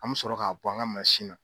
An mi sɔrɔ k'a bɔ an ka na